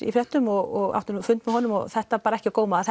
í fréttum og átti nú fund með honum og þetta var ekki á góma að